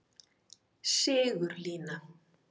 Sigurlína